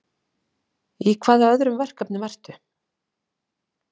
Í hvaða öðrum verkefnum ertu?